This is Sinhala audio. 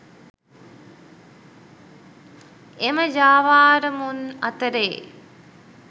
එම ජාවාරමුන් අතරේ